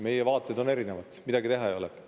Meie vaated on erinevad, midagi teha ei ole.